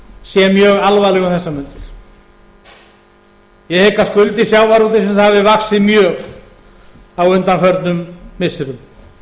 sé mjög alvarleg um þessar mundir ég hygg að skuldir sjávarútvegsins hafi vaxið mjög á undanförnum missirum